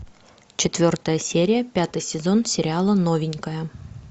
четвертая серия пятый сезон сериала новенькая